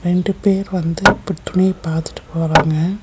ரெண்டு பேர் வந்து இப்ப துணிய பாத்துட்டு போறாங்க.